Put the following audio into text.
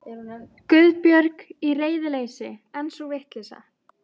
Guðbjörg. í reiðileysi, en sú vitleysa.